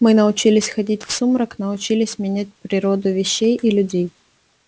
мы научились ходить в сумрак научились менять природу вещей и людей